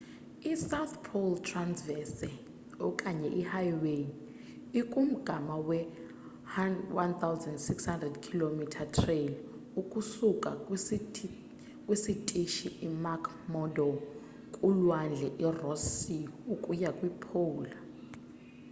i south pole traverse okanye i highway ikumgama we 1600 km trail ukusuka kwisitishi i mcmurdo kulwandle i ross sea ukuya kwi pole